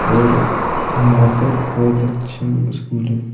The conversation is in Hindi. और यहां पर बहुत अच्छा स्कूल है।